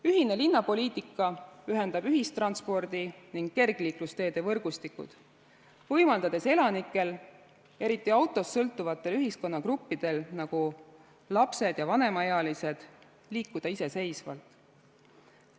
Ühine linnapoliitika ühendab ühistranspordi ning kergliiklusteede võrgustikud, võimaldades elanikel, eriti autost sõltuvatel ühiskonnagruppidel, nagu lapsed ja vanemaealised, liikuda iseseisvalt.